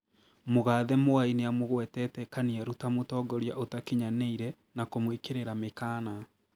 Mũgathe Mwai nĩamũgwetete Kaniaru ta mũtongoria utakinyanĩire na kũmwĩkĩrĩra mĩkana